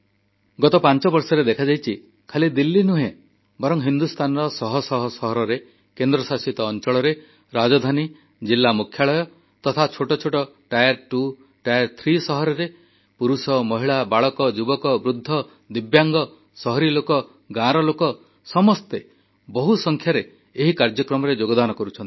ଗତ ପାଞ୍ଚ ବର୍ଷରେ ଦେଖାଯାଇଛି ଖାଲି ଦିଲ୍ଲୀ ନୁହେଁ ବରଂ ହିନ୍ଦୁସ୍ତାନର ଶହ ଶହ ସହରରେ କେନ୍ଦ୍ରଶାସିତ ଅଞ୍ଚଳରେ ରାଜଧାନୀ ଜିଲ୍ଲା ମୁଖ୍ୟାଳୟ ତଥା ଛୋଟ ଛୋଟ ଦ୍ୱିତୀୟ ଓ ତୃତୀୟ ଶ୍ରେଣୀ ସହରରେ ବି ପୁରୁଷ ମହିଳା ବାଳକ ଯୁବକ ବୃଦ୍ଧ ଦିବ୍ୟାଙ୍ଗ ସହରର ଲୋକ ଗାଁର ଲୋକ ସମସ୍ତେ ବହୁସଂଖ୍ୟାରେ ଏହି କାର୍ଯ୍ୟକ୍ରମରେ ଯୋଗଦାନ କରୁଛନ୍ତି